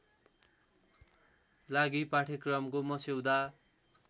लागि पाठ्यक्रमको मस्यौदा